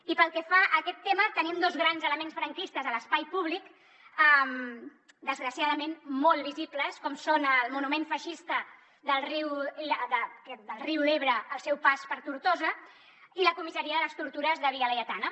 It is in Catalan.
i pel que fa a aquest tema tenim dos grans elements franquistes a l’espai públic desgraciadament molt visibles com són el monument feixista del riu ebre al seu pas per tortosa i la comissaria de les tortures de via laietana